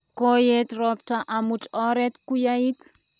Koyei roptap omut oree kuyait.